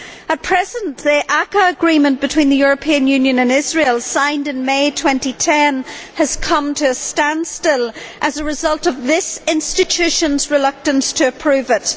At present, the ACCA agreement between the European Union and Israel, signed in May 2010, has come to a standstill as a result of this institution's reluctance to approve it.